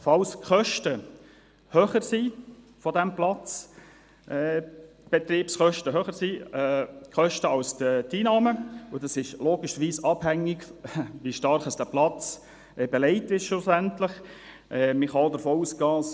Falls die Kosten des Platzes, also die Betriebskosten, höher als die Einnahmen sind – das ist logischerweise abhängig davon, wie stark der Platz schlussendlich belegt sein wird –, wird das durch den Kulturförderungsfonds gedeckt.